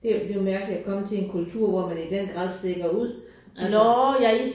Det det var mærkeligt at komme til en kultur hvor man i den grad stikker ud altså